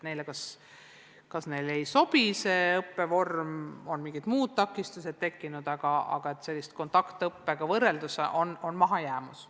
Neile kas ei sobi see õppevorm või on mingid muud takistused tekkinud, aga igal juhul on kontaktõppega võrreldes tekkinud mahajäämus.